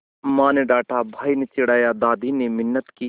माँ ने डाँटा भाई ने चिढ़ाया दादी ने मिन्नत की